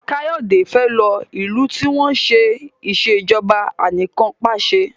Kayode fè ló ilú tí wón ṣe Ìṣèjọba Anìkanpàṣẹ